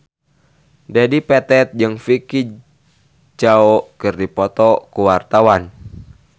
Dedi Petet jeung Vicki Zao keur dipoto ku wartawan